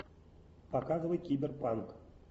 показывай киберпанк